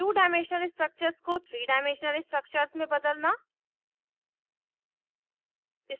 to dimensional structures को three dimensional structures में बदलना